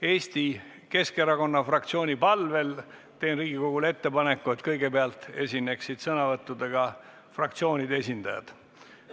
Eesti Keskerakonna fraktsiooni palvel teen Riigikogule ettepaneku, et kõigepealt esineksid fraktsioonide esindajad.